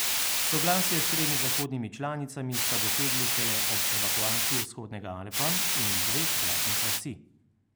Soglasje s tremi zahodnimi članicami sta dosegli šele ob evakuaciji vzhodnega Alepa in dveh vladnih vasi.